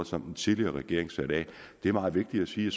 som den tidligere regering satte af det er meget vigtigt at sige